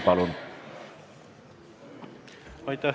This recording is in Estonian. Palun!